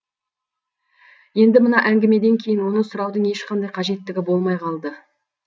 енді мына әңгімеден кейін оны сұраудың ешқандай қажеттігі болмай қалды